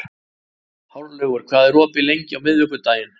Hárlaugur, hvað er opið lengi á miðvikudaginn?